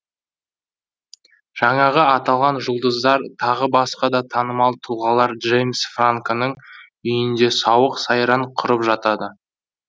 жаңағы аталған жұлдыздар тағы басқа да танымал тұлғалар джеймс франконың үйінде сауық сайран құрып жатады